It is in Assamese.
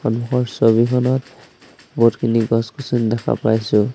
সন্মুখৰ ছবিখনত বহুতখিনি গছ-গছনি দেখা পাইছোঁ।